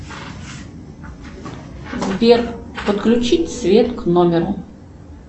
сбер подключить свет к номеру